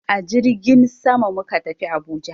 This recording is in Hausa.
A jirgin sama muka tafi Abuja.